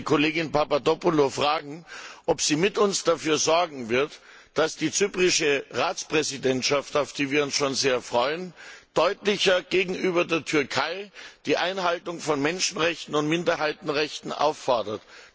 Ich möchte die Kollegin Papadopoulou fragen, ob sie mit uns dafür sorgen wird, dass die zyprische Ratspräsidentschaft, auf die wir uns schon sehr freuen, gegenüber der Türkei deutlicher die Einhaltung von Menschenrechten und Minderheitenrechten einfordert.